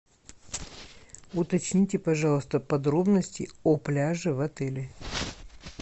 уточните пожалуйста подробности о пляже в отеле